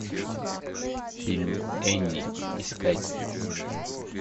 фильм энни искать